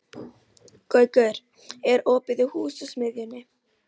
Gaukur, er opið í Húsasmiðjunni?